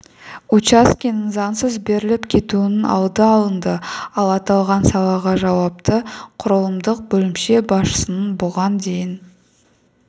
учаскенің заңсыз беріліп кетуінің алды алынды ал аталған салаға жауапты құрылымдық бөлімше басшысының бұған дейін